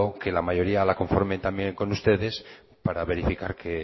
que la mayoría la conforme también con ustedes para verificar que